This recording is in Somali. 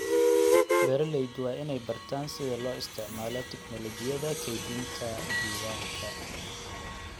Beeraleydu waa inay bartaan sida loo isticmaalo tignoolajiyada kaydinta diiwaanka.